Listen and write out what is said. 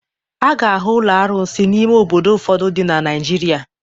A ga-ahụ ụlọ arụsị n'ime obodo ụfọdụ dị na Naịjirịa.